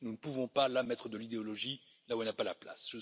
Nous ne pouvons pas mettre de l'idéologie là où elle n'a pas sa place.